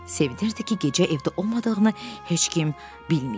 Sevinirdi ki, gecə evdə olmadığını heç kim bilməyib.